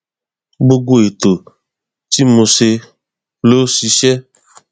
gbogbo ètò tí mo ṣe ló ṣiṣẹ